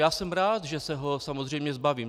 Já jsem rád, že se ho samozřejmě zbavím.